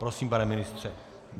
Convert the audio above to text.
Prosím, pane ministře.